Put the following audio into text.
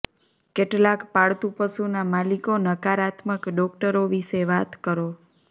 કેટલાંક પાળતુ પશુના માલિકો નકારાત્મક ડોક્ટરો વિશે વાત કરો